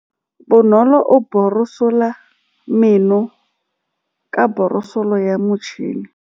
Bonolô o borosola meno ka borosolo ya motšhine.